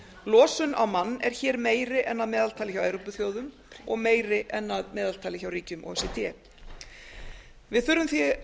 losun á mann er hér meiri en að meðaltali hjá evrópuþjóðum og meiri en að meðaltali hjá ríkjum o e c d við þurfum því